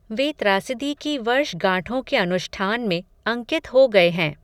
वे त्रासदी की वर्षगांठों के अनुष्ठान में, अंकित हो गये हैं